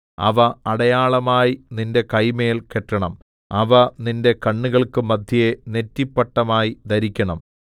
അവ അടയാളമായി നിന്റെ കൈമേൽ കെട്ടേണം അവ നിന്റെ കണ്ണുകൾക്ക് മദ്ധ്യേ നെറ്റിപ്പട്ടമായി ധരിക്കണം